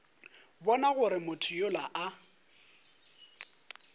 bona gore motho yola a